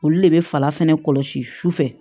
Olu de bɛ fala fana kɔlɔsi sufɛ